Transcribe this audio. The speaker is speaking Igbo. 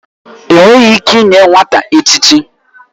Enweghị ike inye nwata echichi.